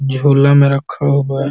झोला में रखा हुआ है।